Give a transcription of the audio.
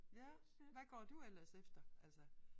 Ja hvad går du ellers efter altså